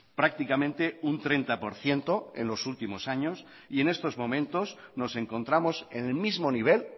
prácticamente un treinta por ciento en los últimos años y en estos momentos nos encontramos en el mismo nivel